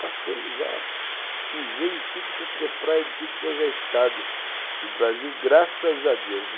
Passei, já pisei em tudo quanto é praia, em tudo quanto é estado do Brasil, graças a Deus.